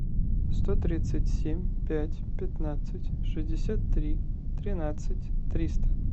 сто тридцать семь пять пятнадцать шестьдесят три тринадцать триста